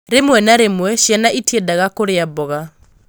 Rĩmwe na rĩmwe, ciana itiendaga kũrĩa mboga.